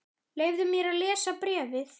Leyfðu mér að lesa bréfið